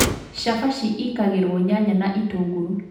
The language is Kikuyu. Chabaci ikagĩrwo nyanya na itũngũrũ